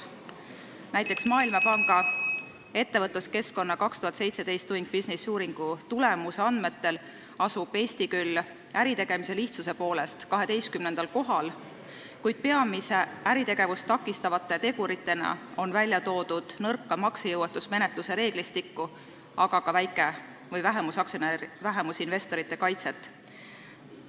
Näiteks Maailmapanga ettevõtluskeskkonna uuringu "Doing Business 2017" andmetel asub Eesti küll äritegemise lihtsuse poolest 12. kohal, kuid peamiste äritegevust takistavate teguritena on välja toodud nõrka maksejõuetusmenetluse reeglistikku, aga ka väike- või vähemusinvestorite kaitse puudumist.